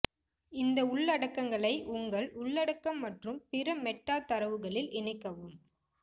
இந்த உள்ளடக்கங்களை உங்கள் உள்ளடக்கம் மற்றும் பிற மெட்டா தரவுகளில் இணைக்கவும்